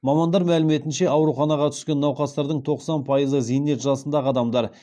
мамандар мәліметінше ауруханаға түскен науқастардың тоқсан пайызы зейнет жасындағы адамдар